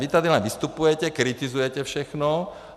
Vy tady len vystupujete, kritizujete všechno.